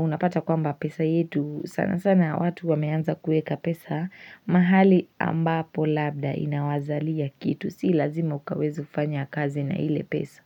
Unapata kwamba pesa yetu sana sana watu wameanza kueka pesa mahali ambapo labda inawazalia kitu. Si lazima ukaweza kufanya kazi na ile pesa.